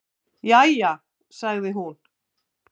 """Jæja, sagði hún."""